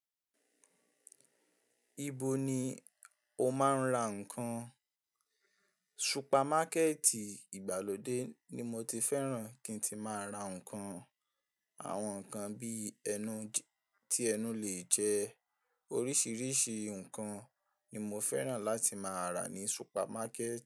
Ibo ni o máa ń ra ǹkan? Supamakẹ́ẹ̀tì ìgbàlódé ni mo ti féràn kí n tíì máa ra ǹkan. Àwọn ǹkan bíi ẹnu tí ẹnu lè jẹ. Oríṣìíríṣìí ǹkan ni mo féràn láti máa rà ní supamakẹ́ẹ̀